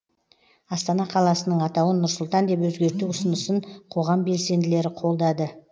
астана қаласының атауын нұр сұлтан деп өзгерту ұсынысын қоғам белсенділері қолдады